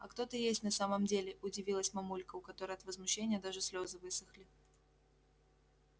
а кто ты есть на самом деле удивилась мамулька у которой от возмущения даже слезы высохли